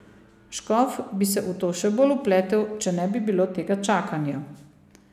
Škof bi se v to še bolj vpletel, če ne bi bilo tega čakanja.